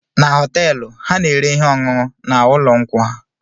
Na họteelụ ha na-ere ihe ọṅụṅụ na ụlọ nkwụ ha